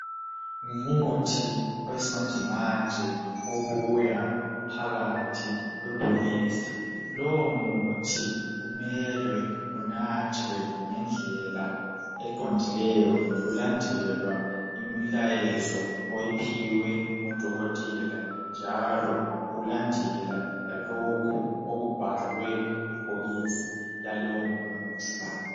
Ngumuthi owesimanjemanje obuya uphakathi kwebhokisi. Lowo muthi kumelwe unathwe ngendlela eqondileyo kulandelwa imilayezo oyiphiwe ngudokotela njalo ulandela lalokhu okubhalwe kubhokisi lalowo muthi.